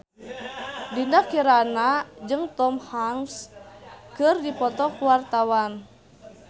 Dinda Kirana jeung Tom Hanks keur dipoto ku wartawan